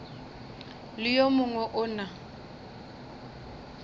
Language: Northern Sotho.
le yo mongwe o na